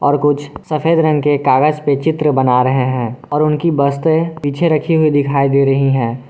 और कुछ सफेद रंग के कागज पे चित्र बना रहे हैं और उनकी बस्ते पीछे रखे हुए दिखाई दे रही है।